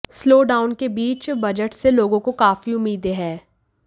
slowdown के बीच budget से लोगों को काफी उम्मीदें हैं